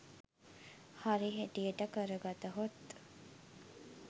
හරි හැටියට කර ගතහොත්